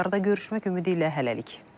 Növbəti saatlarda görüşmək ümidi ilə hələlik.